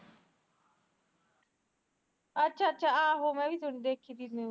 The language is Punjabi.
ਅੱਛਾ ਅੱਛਾ ਆਹੋ ਹੈਗੀ ਦੇਖੀਵੀ